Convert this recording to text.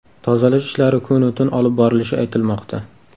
Tozalash ishlari kunu-tun olib borilishi aytilmoqda.